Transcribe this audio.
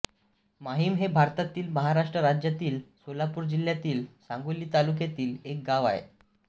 माहिम हे भारतातील महाराष्ट्र राज्यातील सोलापूर जिल्ह्यातील सांगोला तालुक्यातील एक गाव आहे